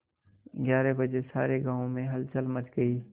ग्यारह बजे सारे गाँव में हलचल मच गई